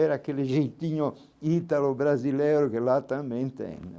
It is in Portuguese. Era aquele jeitinho ítalo brasileiro que lá também tem.